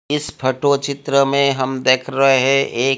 इस फोटो चित्र में हम देख रहे एक--